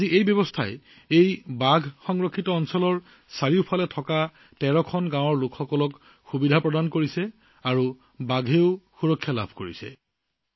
আজি এই বাঘ সংৰক্ষিত বনাঞ্চলৰ চাৰিওফালে থকা তেৰখন গাঁৱত এই ব্যৱস্থাই জনসাধাৰণৰ বাবে বহু উপকাৰ সাধন কৰিছে আৰু বাঘৰ সুৰক্ষা নিশ্চিত কৰিছে